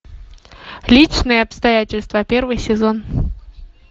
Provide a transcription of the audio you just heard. личные обстоятельства первый сезон